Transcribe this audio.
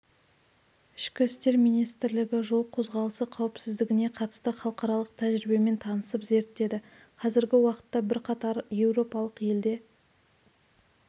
ішкі істер министрлігі жол қозғалысы қауіпсіздігіне қатысты халықаралық тәжірибемен танысып зерттеді қазіргі уақытта бірқатар еуропалық елде